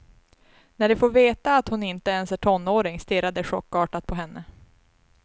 När de får veta att hon inte ens är tonåring stirrar de chockartat på henne.